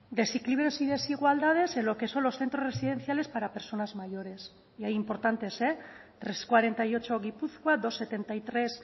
desequilibrios y desigualdades en lo que son los centros residenciales para personas mayores y hay importantes trescientos cuarenta y ocho gipuzkoa doscientos setenta y tres